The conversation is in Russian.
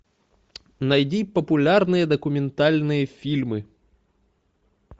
найди популярные документальные фильмы